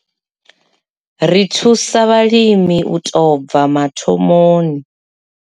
Ri thusa vhalimi u tou bva mathomoni.